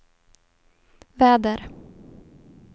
väder